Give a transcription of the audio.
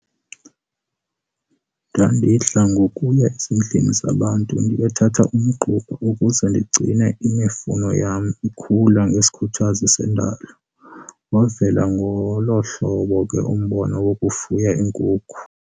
Ndandidla ngokuya ezindlini zabantu ndiyokuthatha umgquba ukuze ndigcine imifuno yam ikhula ngesikhuthazi sendalo. Wavela ngolo hlobo ke lo mbono wokufuya iinkukhu.